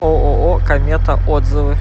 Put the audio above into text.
ооо комета отзывы